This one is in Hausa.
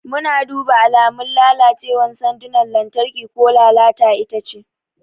Muna duba alamun lalacewar sandunan lantarki ko lalata itace.